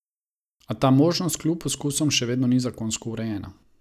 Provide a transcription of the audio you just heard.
A ta možnost kljub poskusom še vedno ni zakonsko urejena.